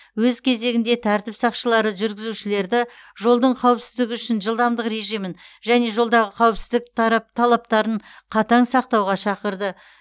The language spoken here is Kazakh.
өз кезегінде тәртіп сақшылары жүргізушілерді жолдың қауіпсіздігі үшін жылдамдық режимін және жолдағы қауіпсіздік тарап талаптарын қатаң сақтауға шақырды